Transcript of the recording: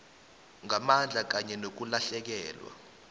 ngamandla kanye nokulahlekelwa